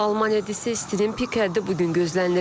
Almaniyada isə istinin pik həddi bu gün gözlənilir.